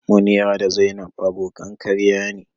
Munira da zainab abokan karya ne.